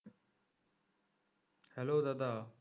hello দাদা